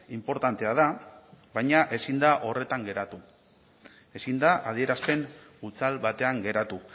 inportantea da baina ezin da horretan geratu ezin da adierazpen hutsal batean geratu